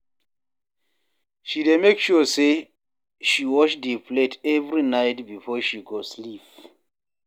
She dey make sure sey she wash di plate every night before she go sleep.